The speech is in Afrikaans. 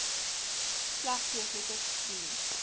slegs hoofletters dien